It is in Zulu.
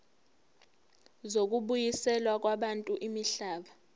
zokubuyiselwa kwabantu imihlaba